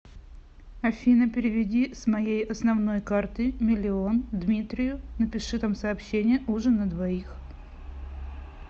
афина переведи с моей основной карты миллион дмитрию напиши там сообщение ужин на двоих